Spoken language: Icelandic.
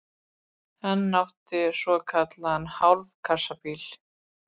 Hann átti svokallaðan hálfkassabíl.